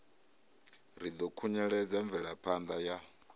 ri ḓo khunyeledza mvelaphanda ya